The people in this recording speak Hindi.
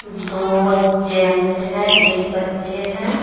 दो जेंट्स है एक बच्चे हैं।